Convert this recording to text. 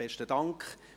Besten Dank.